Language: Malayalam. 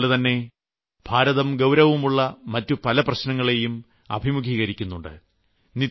അതുപോലെതന്നെ ഭാരതം ഗൌരവമുള്ള മറ്റു പല പ്രശ്നങ്ങളേയും അഭിമുഖീകരിക്കുന്നുണ്ട്